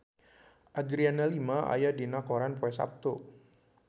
Adriana Lima aya dina koran poe Saptu